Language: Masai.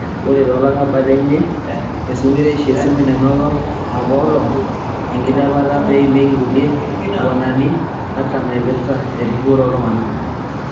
Ore to larabal eanyi esunkureisho o simui nenoto apaelong enkilepata peimieki kulia kiguenani artam naiprta eripoto ooltungana.